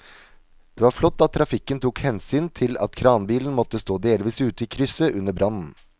Det var flott at trafikken tok hensyn til at kranbilen måtte stå delvis ute i krysset under brannen.